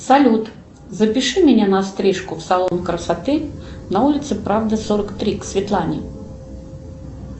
салют запиши меня на стрижку в салон красоты на улице правды сорок три к светлане